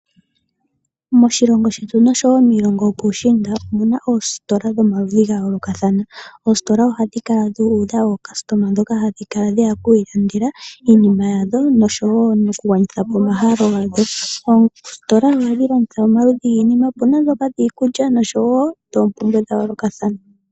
Moshilongo shetu oshowoo miilongo yopuushiinda omuna oositola dhomaludhi gayoolokathana . Oositola ohadhi kala dhuudha aalandi mbono haya kala yeya okwiilandela iinima yawo noshowoo okugwanithapo omahalo gawo. Oositola ohadhi landitha omaludhi gwiinima. Opuna ndhoka dhiikulya oshowo dhoompumbwe dhayoolokathana.